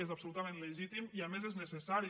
és absolutament legítim i a més és necessari